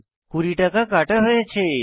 20 টাকা কাটা হয়েছে